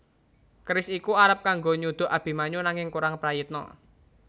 Keris iku arep kanggo nyuduk Abimanyu nanging kurang prayitna